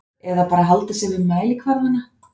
Eða bara halda sig við mælikvarðana?